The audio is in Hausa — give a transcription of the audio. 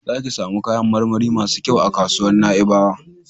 Za ki samu kayan marmari masu kyau a kasuwar Na'ibawa.